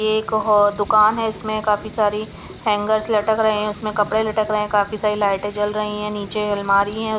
ये एक दुकान है इसमें काफी सारी हैंगर्स लटक रहे हैं उसमें कपड़े लटक रहे हैं काफी सारी लाइटें जल रही है नीचे अलमारी है.